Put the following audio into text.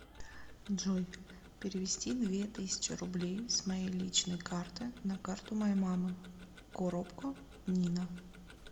джой перевести две тысячи рублей с моей личной карты на карту моей мамы коробко нина